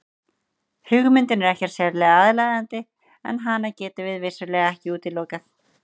Hugmyndin er ekkert sérlega aðlaðandi en hana getum við vissulega ekki útilokað.